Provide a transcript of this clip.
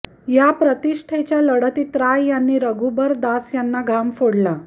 या प्रतिष्ठेच्या लढतीत राय यांनी रघुबर दास यांना घाम फोडला